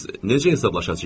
Biz necə hesablaşacağıq?